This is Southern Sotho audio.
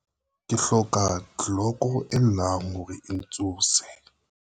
ke hloka tleloko e llang hore e ntsose